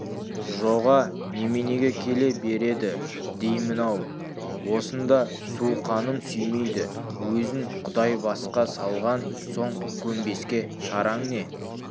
жоға неменеге келе береді деймін-ау осында суқаным сүймейді өзін құдай басқа салған соң көнбеске шараң не